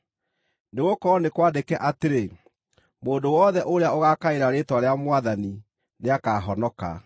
nĩgũkorwo nĩ kwandĩke atĩrĩ, “Mũndũ wothe ũrĩa ũgaakaĩra rĩĩtwa rĩa Mwathani nĩakahonoka.”